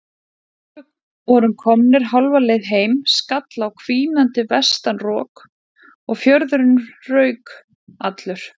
Þegar við vorum komnir hálfa leið heim skall á hvínandi vestanrok og fjörðurinn rauk allur.